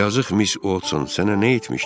Yazıq Miss Oltson sənə nə etmişdi?